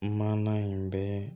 Maana in bɛ